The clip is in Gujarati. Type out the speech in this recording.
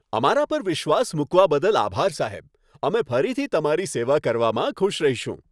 અમારા પર વિશ્વાસ મૂકવા બદલ આભાર, સાહેબ. અમે ફરીથી તમારી સેવા કરવામાં ખુશ રહીશું.